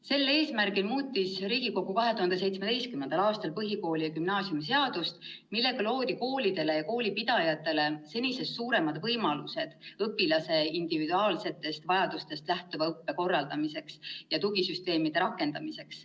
Sel eesmärgil muutis Riigikogu 2017. aastal põhikooli- ja gümnaasiumiseadust, millega loodi koolidele ja koolipidajatele senisest suuremad võimalused õpilase individuaalsetest vajadustest lähtuva õppe korraldamiseks ning tugisüsteemide rakendamiseks.